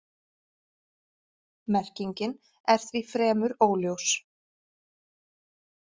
Merkingin er því fremur óljós.